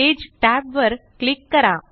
page tab वर click करा